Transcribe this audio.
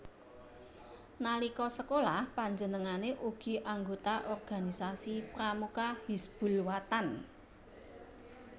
Nalika sekolah panjenengane ugi anggota organisasi Pramuka Hizbul Wathan